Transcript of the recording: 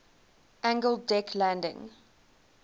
angled deck landing